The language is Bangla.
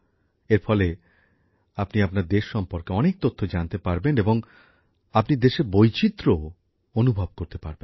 এর ফলে আপনি আপনার দেশ সম্পর্কে অনেক তথ্য জানতে পারবেন এবং আপনি দেশের বৈচিত্র্যও অনুভব করতে পারবেন